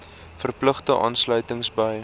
verpligte aansluiting by